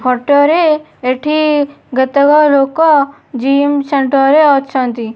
Photo ରେ ଏଠି କେତେକ ଲୋକ ଜିମ ସେଣ୍ଟର ରେ ଅଛନ୍ତି।